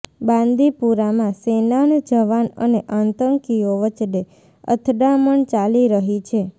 બાંદીપુરામાં સેનાન જવાન અને આતંકીઓ વચ્ચે અથડામણ ચાલી રહી છે